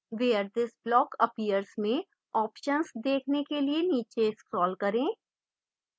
where this block appears में options देखने के लिए नीचे scroll करें